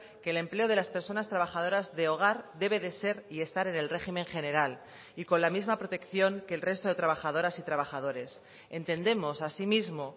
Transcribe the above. que el empleo de las personas trabajadoras de hogar debe de ser y estar en el régimen general y con la misma protección que el resto de trabajadoras y trabajadores entendemos así mismo